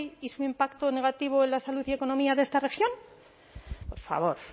y su impacto negativo en la salud y economía de esta región por favor